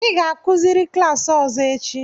ị ga-akuziri klaasị ọzọ echi!